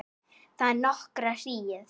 Þagði nokkra hríð.